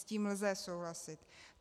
S tím lze souhlasit.